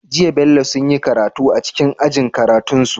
Jiya bello sunyi karatu a cikin ajin karatun su